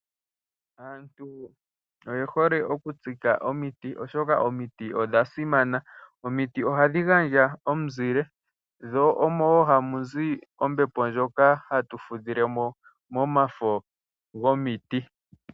Aantu oye hole okutsika omiti, oshoka omiti odha simana. Omiti ohadhi gandja omuzile, dho momafo gadho omo wo hamu zi ombepo ndjoka hatu fudhile mo.